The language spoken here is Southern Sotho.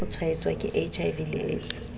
tshwaetswa ke hiv le aids